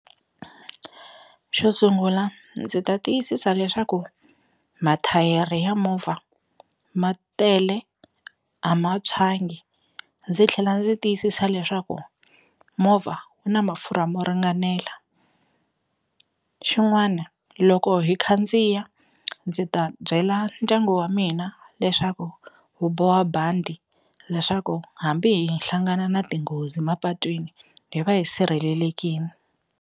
Xo sungula ndzi ta tiyisisa leswaku mathayere ya movha ma tele a ma tshwangi ndzi tlhela ndzi tiyisisa leswaku movha wu na mafurha mo ringanela xin'wana loko hi khandziya ndzi ta byela ndyangu wa mina leswaku wu boha bandi leswaku hambi hi hlangana na tinghozi mapatwini hi va hi sirhelelekini.